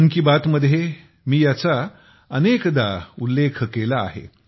मन की बात मध्ये मी याचा अनेकदा उल्लेख केला आहे